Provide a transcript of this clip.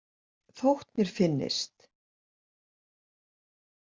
Þótt mér finnist.